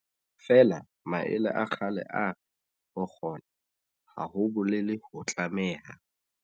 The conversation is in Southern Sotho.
Feela maele a kgale a re, ho kgona, ha ho bolele ho tlameha.